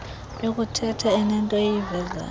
yokuthetha inento eyivezayo